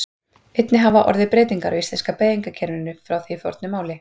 Einnig hafa orðið breytingar á íslenska beygingakerfinu frá því í fornu máli.